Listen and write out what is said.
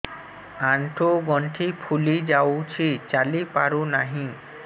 ଆଂଠୁ ଗଂଠି ଫୁଲି ଯାଉଛି ଚାଲି ପାରୁ ନାହିଁ